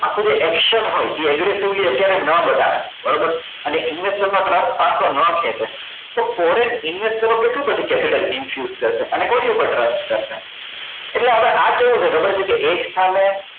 આપણું action હોય એ everything અત્યારે ના બતાવે બરોબર અને investor નો trust પાછો ના ખેંચે તો foreign investor ઓ કેટલું પછી capital induced કરે અને કોના પર trust કરશે એટલે હવે આ કેવું છે ખબર છે કે એક સામે